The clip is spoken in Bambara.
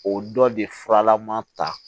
O dɔ de furalama ta